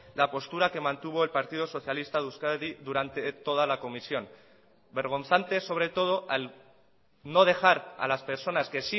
la postura que mantuvo el partido socialista de euskadi durante toda la comisión vergonzante sobre todo al no dejar a las personas que